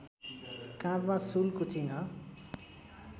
काँधमा शूलको चिह्न